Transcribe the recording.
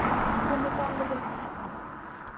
Hún er bálreið.